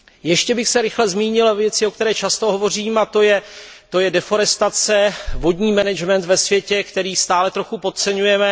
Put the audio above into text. Ještě bych se rychle zmínil o věci, o které často hovořím, a to je deforestace, vodní management ve světě, který stále trochu podceňujeme.